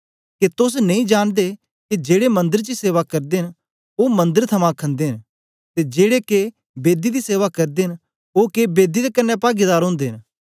के तोस नेई जांनदे के जेड़े मंदर च सेवा करदे न ओ मन्दर थमां खंदे न ते जेड़े के बेदी दी सेवा करदे न ओ के बेदी दे कन्ने पागीदार ओदे न